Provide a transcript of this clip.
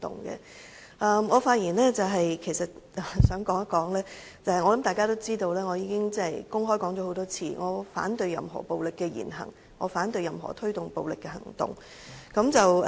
我想在發言中表明，而且相信大家亦知道，我曾公開多次表明我反對任何暴力言行，反對任何推動暴力的行動。